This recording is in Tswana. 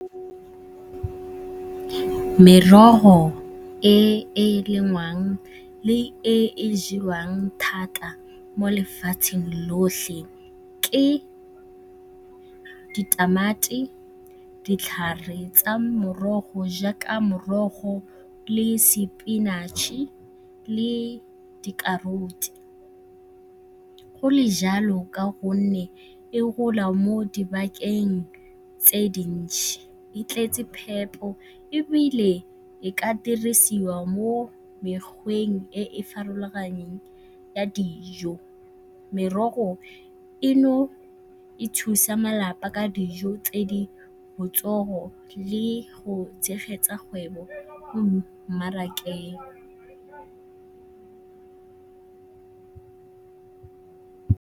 Merogo e e lengwang le e e jewang thata mo lefatsheng lotlhe ke ditamati, ditlhare tsa morogo jaaka morogo le sepinatšhe le di-carrots. Go le jalo ka gonne e gola mo dibakeng tse dintšhi, e tletse phepo ebile e ka dirisiwa mo mekgweng e e farologaneng ya dijo. Merogo e e thusa malapa ka dijo tse di botsogo le go tshegetsa kgwebo mo mmarakeng.